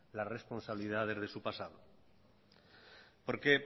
las responsabilidades de su pasado porque